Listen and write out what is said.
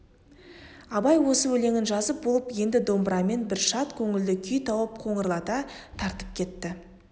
абай осы өлеңін жазып болып енді домбырамен бір шат көңілді күй тауып қоңырлата тартып кетті